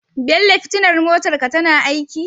Bello fitilar motar ka tana aiki?